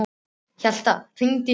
Hjalta, hringdu í Hugrúnu.